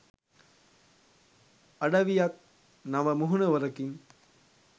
අඩවියත් නව මුහුණුවරකින්